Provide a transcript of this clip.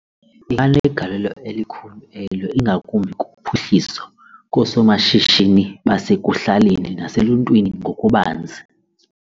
Banegalelo elikhulu elo ingakumbi kuphuhliso koosomashishini basekuhlaleni naseluntwini ngokubanzi.